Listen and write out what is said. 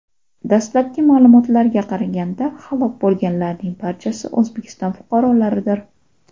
Dastlabki ma’lumotlarga qaraganda, halok bo‘lganlarning barchasi O‘zbekiston fuqarolaridir.